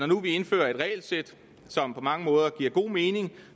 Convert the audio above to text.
nu indfører et regelsæt som på mange måder giver god mening